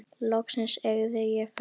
Loksins eygði ég frelsi.